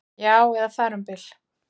Já, eða þar um bil